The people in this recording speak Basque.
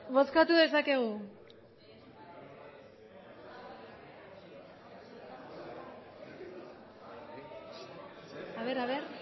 bozkatu dezakegu a ver a ver